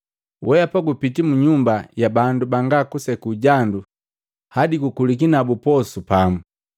“Weapa gupiti mu nyumba ya bandu banga kuseku jandu hadi gukuliki nabu posu pamu!”